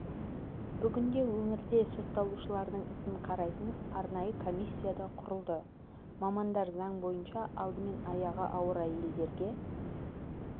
бүгінде өңірде сотталушылардың ісін қарайтын арнайы коммисия да құрылды мамандар заң бойынша алдымен аяғы ауыр әйелдерге